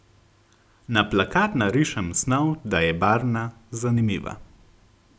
Na plakat narišem snov, da je barvna, zanimiva.